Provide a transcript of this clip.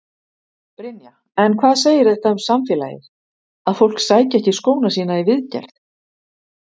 Brynja: En hvað segir þetta um samfélagið, að fólk sæki ekki skóna sína í viðgerð?